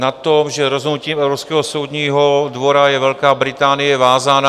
Na tom, že rozhodnutím Evropského soudního dvora je Velká Británie vázána...